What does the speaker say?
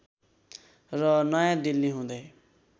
र नयाँ दिल्ली हुँदै